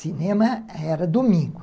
Cinema era domingo.